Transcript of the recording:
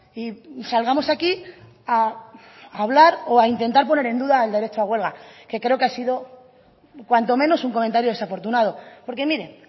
y salgamos aquí a hablar o a intentar poner en duda el derecho a huelga que creo que ha sido cuanto menos un comentario desafortunado porque mire